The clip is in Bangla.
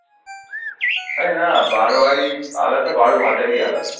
এই না না বাড়োয়ারি আলাদা বারো ভাতারি আলাদা।